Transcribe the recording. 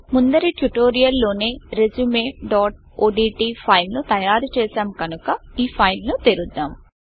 ముందరి ట్యుటోరియల్ లోనే resumeఓడ్ట్ ఫైల్ ను తయారు చేసాం కనుక ఈ ఫైల్ ను తెరుద్దాం